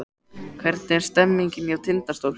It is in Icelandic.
Hvernig er stemningin hjá Tindastól?